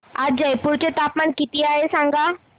आज जयपूर चे तापमान किती आहे सांगा